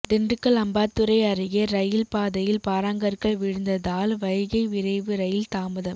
திண்டுக்கல் அம்பாத்துறை அருகே ரயில் பாதையில் பாறாங்கற்கள் விழுந்ததால் வைகை விரைவு ரயில் தாமதம்